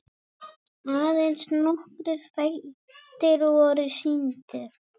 Aðeins nokkrir þættir voru sýndir.